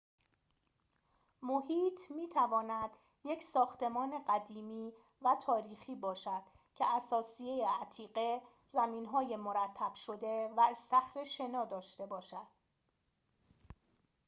محیط می‌تواند یک ساختمان قدیمی و تاریخی باشد که اثاثیه عتیقه زمین‌های مرتب شده و استخر شنا داشته باشد